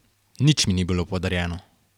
Nič mi ni bilo podarjeno.